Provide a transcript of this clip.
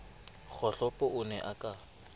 kgohlopo o ne a ka